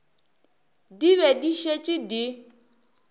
di be di šetše di